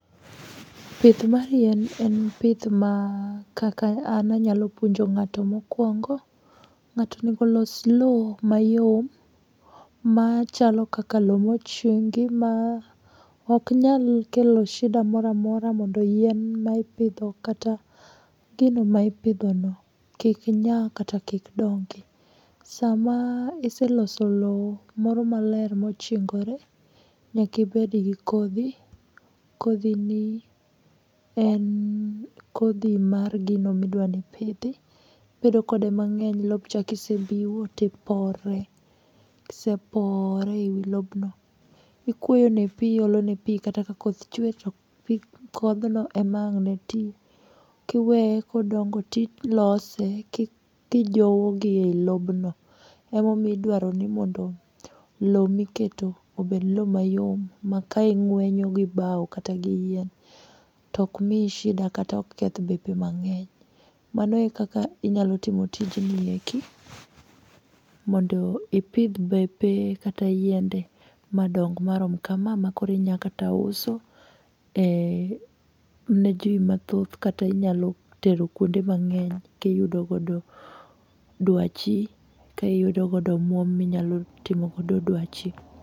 Pith mar yien en pith ma kaka an anyalo puonjo ng'ato mokwongo. Ng'ato onego olos lowo mayom, machalo kaka lowo mochungi, ma oknyal kelo shida moro amora mondo yien ma ipidho kata gino ma ipidho no kik nya kata kik dongi. Sama iseloso lowo kamoro maler ma ochingore, nyaka ibed gi kodhi. Kodhi ni en kodhi mar gino ma idwa ni ipidhi. Ibedo kode mang'eng lobcha kiseriwo to ipore. Kisepore e wi lobno, ikwoyo ne pi, iolo ne pi, kata ka koth chwe, to pi kothno emang ne ti, Kiwee kodongo to ilose, ki kijowo gi lobno. Ema omiyo idwaro ni mondo lowo ma iketo obed lowo mayom ma ka ing'wenyo gi bao kata gi yien tok mii shida, kata ok keth bepe mang'eny. Mano e kaka inyalo timo tijni eki. Mondo ipidh bepe kata yiende madong marom kama ma koro inya kata uso ne ji mathoth, kata inyalo tero kuonde mangeny, to iyudo godo dwachi, kaiyudo godo omwom ma inyalo timo godo dwachi.